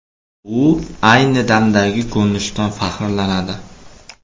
U ayni damdagi ko‘rinishidan faxrlanadi.